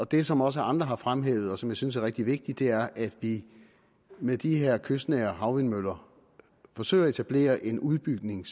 det som også andre har fremhævet og som jeg synes er rigtig vigtigt er at vi med de her kystnære havvindmøller forsøger at etablere en udbygning